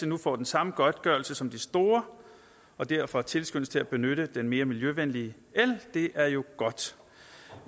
nu får den samme godtgørelse som de store og derfor tilskyndes til at benytte den mere miljøvenlige el er jo godt